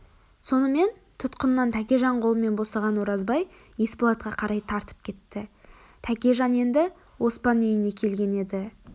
сонымен тұтқыннан тәкежан қолымен босаған оразбай есболатқа қарай тартып кетті тәкежан енді оспан үйіне келген еді